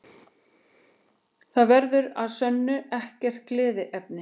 Það verður að sönnu ekkert gleðiefni